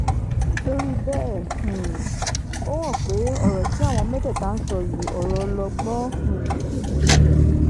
nítorí bẹ́ẹ̀ um ó hàn pé ọ̀rọ̀ tí àwọn mẹ́tẹ̀ẹ̀ta ń sọ yìí ọ̀rọ̀ ọlọgbọ́n um ni